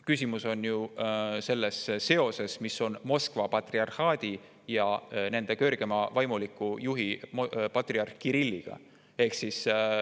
Küsimus on ju selles seoses, mis on neil Moskva patriarhaadi ja nende kõrgeima vaimuliku juhi patriarh Kirilliga.